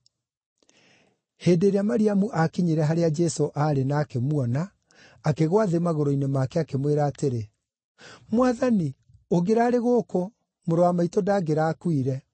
Hĩndĩ ĩrĩa Mariamu aakinyire harĩa Jesũ aarĩ na akĩmuona, akĩgũa thĩ magũrũ-inĩ make, akĩmwĩra atĩrĩ, “Mwathani, ũngĩraarĩ gũkũ, mũrũ wa maitũ ndangĩrakuire.”